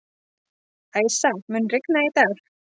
Æsa, mun rigna í dag?